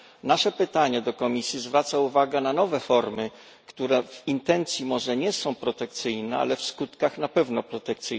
Nasze pytanie do Komisji zwraca uwagę na nowe formy, które w intencji może nie są protekcyjne, ale w skutkach na pewno tak.